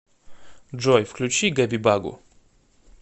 джой включи гэби багу